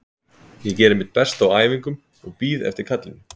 Ég geri mitt besta á æfingum og bíð eftir kallinu.